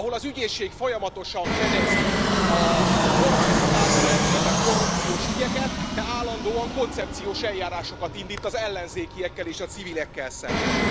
Ahol az ügyészség folyamatosan fedezi a kormányzat által elkövetett korrupciós ügyeket, de állandóan koncepciós eljárásokat indít az ellenzékiekkel és a civilekkel szemben.